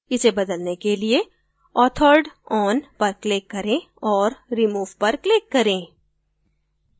इसे बदलने के लिए authored on पर click करें और remove पर click करें